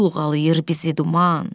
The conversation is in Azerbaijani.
Çulğalayır bizi duman.